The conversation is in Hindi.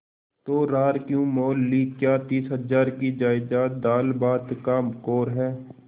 तो रार क्यों मोल ली क्या तीस हजार की जायदाद दालभात का कौर है